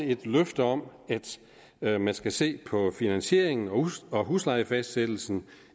et løfte om at man skal se på finansieringen og huslejefastsættelsen